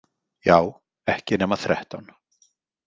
Já, ekki nema þrettán.